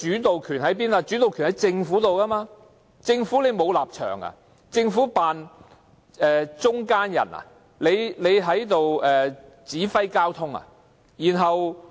但這是諮詢，政府才掌握主導權，政府難道沒有立場，只當中間人，指揮交通嗎？